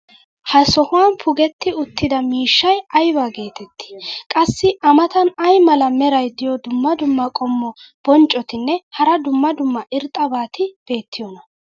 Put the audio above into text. ha sohuwan pugetti uttida miishshay ayba geetettii? qassi a matan ay mala meray diyo dumma dumma qommo bonccotinne hara dumma dumma irxxabati beetiyoonaa?